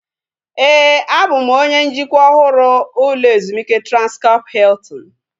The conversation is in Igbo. Éè, a bụ m onye njikwa ọhụrụ ụlọ ezumike Transkọp Hiltin